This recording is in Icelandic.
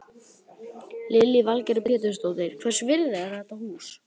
Lillý Valgerður Pétursdóttir: Hvers virði er þetta hús?